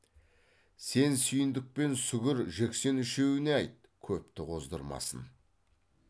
сен сүйіндік пен сүгір жексен үшеуіне айт көпті қоздырмасын